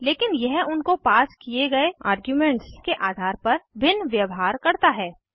लेकिन यह उनको पास किये गए आर्ग्यूमेंट्स के आधार पर भिन्न व्यवहार करता है